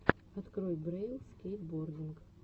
открой брэйл скейтбординг